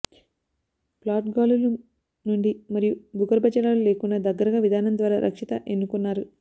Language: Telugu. ప్లాట్ గాలులు నుండి మరియు భూగర్భజలాలు లేకుండా దగ్గరగా విధానం ద్వారా రక్షిత ఎన్నుకున్నారు